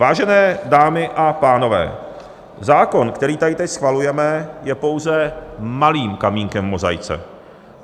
Vážené dámy a pánové, zákon, který tady teď schvalujeme, je pouze malým kamínkem v mozaice.